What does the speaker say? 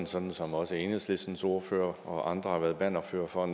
sådan som også enhedslistens ordfører og andre har været bannerførere for